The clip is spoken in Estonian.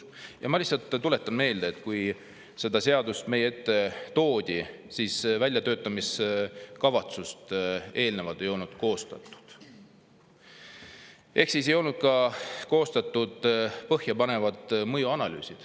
Ja ma lihtsalt tuletan meelde, et kui see seadus meie ette toodi, siis väljatöötamiskavatsust eelnevalt ei olnud koostatud ehk ei olnud ka koostatud põhjapanevaid mõjuanalüüse.